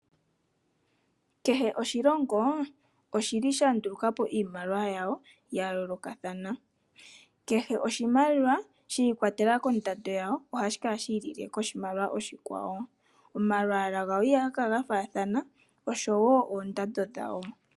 Kehe oshilongo oshi li sha nduluka po iimaliwa yawo ya yoolokathana. Kehe oshimaliwa shi ikwatelela kondando yawo ohashi kala shi ilile koshimaliwa oshikwawo. Omalwaala gayo ihaga kala ga faathana, osho wo oondando dhawo.